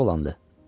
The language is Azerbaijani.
Yaxşı oğlandı.